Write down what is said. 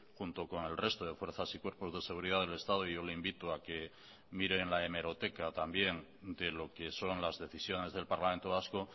junto con el resto de fuerzas y cuerpos de seguridad del estado yo le invito a que mire en la hemeroteca también de lo que son las decisiones del parlamento vasco